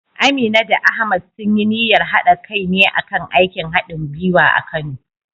Amina da Ahmad sun yi niyyar haɗa kai ne a kan aikin hadin gwiwa a Kano.